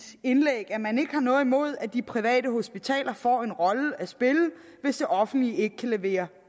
indlæg at man ikke har noget imod at de private hospitaler får en rolle at spille hvis det offentlige ikke kan levere